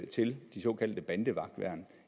til de såkaldte bandevagtværn